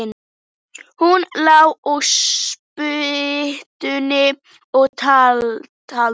Hún lá á spýtunni og taldi.